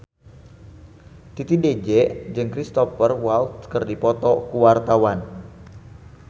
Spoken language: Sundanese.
Titi DJ jeung Cristhoper Waltz keur dipoto ku wartawan